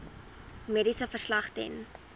mediese verslag ten